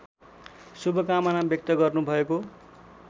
शुभकामना व्यक्त गर्नुभएको